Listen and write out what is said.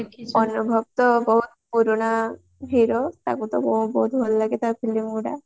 ଅନୁଭବ ତ ବହୁତ ପୁରୁଣା ହୀରୋ ତାକୁ ତ ମୋ ବହୁତ ଭଲ ଲାଗେ ତା filmy ଗୁଡା